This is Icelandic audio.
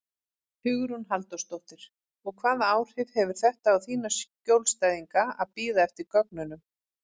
Hugrún Halldórsdóttir: Og hvaða áhrif hefur þetta á þína skjólstæðinga að bíða eftir gögnunum?